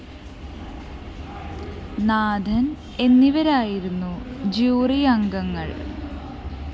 നാഥന്‍ എന്നിവരായിരുന്നു ജൂറി അംഗങ്ങള്‍